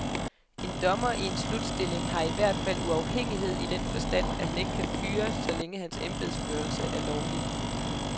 En dommer i en slutstilling har i hvert fald uafhængighed i den forstand, at han ikke kan fyres, så længe hans embedsførelse er lovlig.